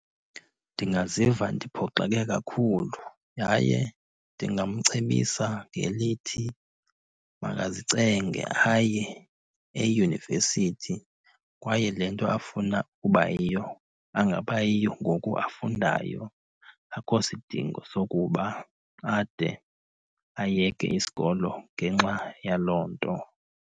Ndingaziva ndiphoxeke kakhulu, yaye ndingamcebisa ngelithi makazicenge aye eyunivesithi. Kwaye le nto afuna uba yiyo angaba yiyo ngoku afundayo. Akho sidingo sokuba ade ayeke isikolo ngenxa yaloo nto.